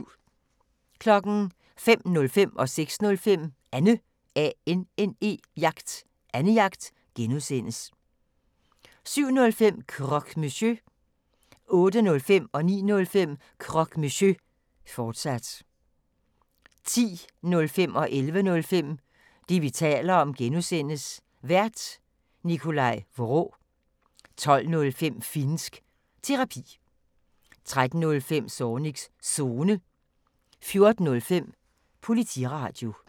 05:05: Annejagt (G) 06:05: Annejagt (G) 07:05: Croque Monsieur 08:05: Croque Monsieur, fortsat 09:05: Croque Monsieur, fortsat 10:05: Det, vi taler om (G) Vært: Nikolaj Vraa 11:05: Det, vi taler om (G) Vært: Nikolaj Vraa 12:05: Finnsk Terapi 13:05: Zornigs Zone 14:05: Politiradio